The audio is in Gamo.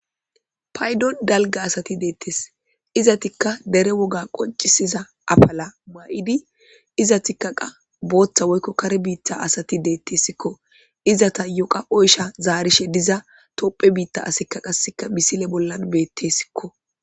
Paydon dalga asati deettes izatikka dere woga qoncisiza afala ma7idi iza tikkaqa booththa woykko kare biittha asati deettessikko izata yoqa oysha zaarishe diza toopphe biitta asika qasseka misile bollan beettessikko